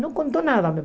Não contou nada mesmo.